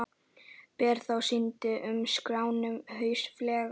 Ber þá að synja um skráningu hlutafélags.